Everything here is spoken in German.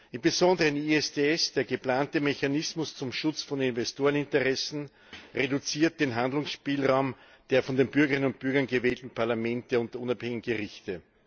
Im Besonderen ISDS, der geplante Mechanismus zum Schutz von Investoreninteressen, reduziert den Handlungsspielraum der von den Bürgern und Bürgerinnen gewählten Parlamente und unabhängigen Gerichte.